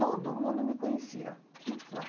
Todo mundo me conhecia lá.